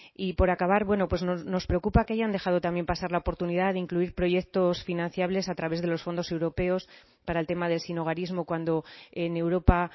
y por acabar bueno pues nos preocupa que hayan dejado también pasar la oportunidad de incluir proyectos financiables a través de los fondos europeos para el tema del sinhogarismo cuando en europa